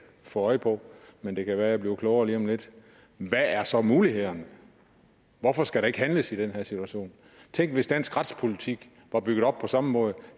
få øje på men det kan være jeg bliver klogere lige om lidt hvad er så mulighederne hvorfor skal der ikke handles i den her situation tænk hvis dansk retspolitik var bygget op på samme måde